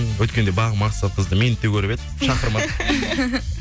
өткенде бағым мақсатқызды мені де көріп еді шақырмады